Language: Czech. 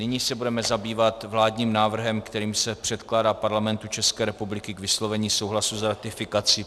Nyní se budeme zabývat vládním návrhem, kterým se předkládá Parlamentu České republiky k vyslovení souhlasu s ratifikací